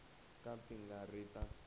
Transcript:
ka ti nga ri ta